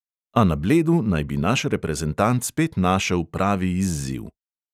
A na bledu naj bi naš reprezentant spet našel pravi izziv.